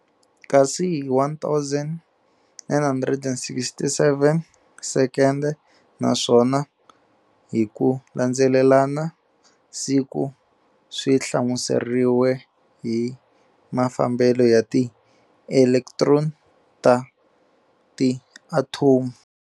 Kasi hi 1967 sekende naswona hi ku landzelelana, siku swi hlamuseriwe hi mafambele ya ti Elektroni ta ti Athomu.